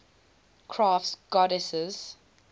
crafts goddesses